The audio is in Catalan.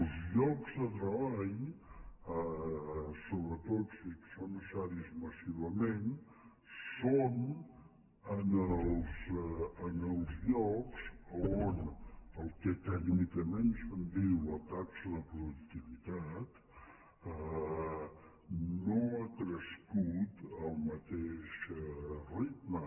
els llocs de treball sobretot si són necessaris massivament són en els llocs on el que tècnicament se’n diu la taxa de productivitat no ha crescut al mateix ritme